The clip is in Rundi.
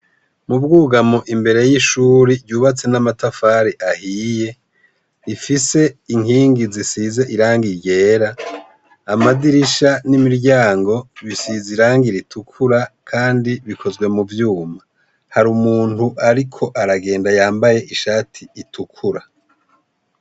Mu bwugamo, imbere y'ishure ryubatse n'amatafari ahiye, rifise inkingi zisize irangi ryera, amadirisha n'imiryango bisize irangi ritukura kandi bikozwe mu vyuma. Hari umuntu ariko aragenda yambaye ishati itukura.